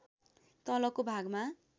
तलको भागमा